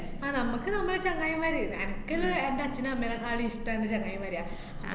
ആ നമുക് നമ്മളെ ചങ്ങായിമാര്, എനക്കെല്ലാ എന്‍റെ അച്ഛനെ അമ്മേനെക്കാലും ഇഷ്ടം എന്‍റെ ചങ്ങായിമാരാ. ആഹ്